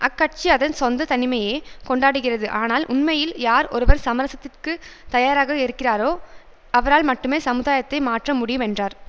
அக்கட்சி அதன் சொந்த தனிமையையே கொண்டாடுகிறது ஆனால் உண்மையில் யார் ஒருவர் சமரசத்திற்கு தயாராக இருக்கிறோரோ அவரால் மட்டுமே சமுதாயத்தை மாற்ற முடியும் என்றார்